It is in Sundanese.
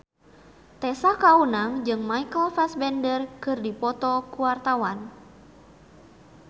Tessa Kaunang jeung Michael Fassbender keur dipoto ku wartawan